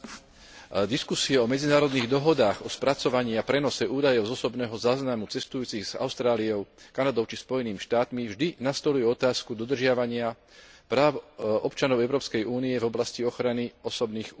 Diskusia o medzinárodných dohodách o spracovaní a prenose údajov z osobného záznamu cestujúcich s Austráliou, Kanadou či Spojenými štátmi vždy nastoľuje otázku dodržiavania práv občanov Európskej únie v oblasti ochrany osobných údajov.